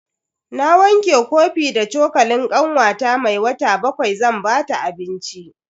Na wanke kofi da cokalin kanwata mai wata bakwai zan bata abinci.